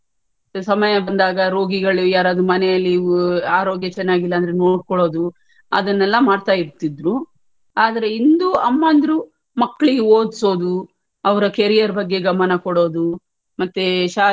ಸಮಯ ಬಂದಾಗ ರೋಗಿಗಳು ಯಾರಾದ್ರೂ ಮನೆಯಲ್ಲಿ ಆರೋಗ್ಯ ಚನ್ನಾಗಿಲ್ಲಾ ಅಂದ್ರೆ ನೋಡ್ಕೊಳ್ಳುವುದು ಅದನ್ನೆಲ್ಲಾ ಮಾಡ್ತಾ ಇರ್ತಿದ್ರು. ಆದ್ರೆ ಇಂದು ಅಮ್ಮಂದಿರು ಮಕ್ಳಿಗೆ ಓದ್ಸೋದು ಅವರ carrier ಬಗ್ಗೆ ಗಮನ ಕೊಡೋದು ಮತ್ತೇ ಶಾಲೆ,